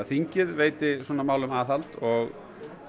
þingið veiti svona málum aðhald og